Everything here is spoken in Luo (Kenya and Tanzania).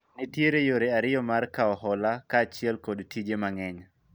nitiere yore ariyo mar kawo hola kaachiel kod tije mang'eny